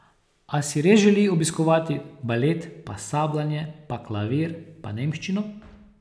A si res želi obiskovati balet, pa sabljanje, pa klavir, pa nemščino?